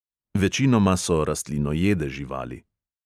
Večinoma so rastlinojede živali.